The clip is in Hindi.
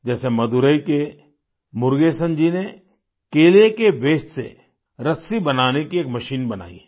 जैसे मदुरै के मुरुगेसन जी ने केले के वास्ते से रस्सी बनाने की एक मशीन बनाई है